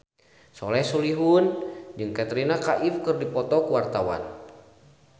Soleh Solihun jeung Katrina Kaif keur dipoto ku wartawan